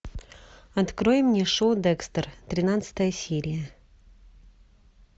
открой мне шоу декстер тринадцатая серия